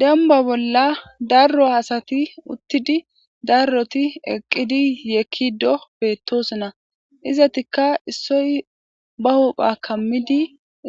demba bolla darro hasati uttidi darroti eqqidi yeekki do bettosona izatikka issoy ba hupha kammidi